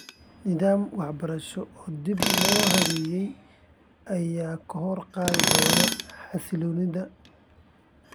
Nidaam waxbarasho oo dib loo habeeyey ayaa kor u qaadi doona xasilloonida .